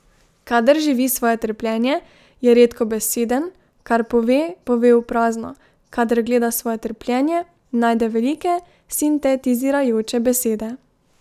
Kadar živi svoje trpljenje, je redkobeseden, kar pove, pove v prazno, kadar gleda svoje trpljenje, najde velike, sintetizirajoče besede.